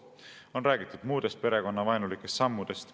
On räägitud muudest perekonnavaenulikest sammudest.